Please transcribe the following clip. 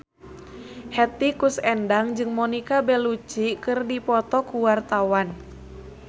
Hetty Koes Endang jeung Monica Belluci keur dipoto ku wartawan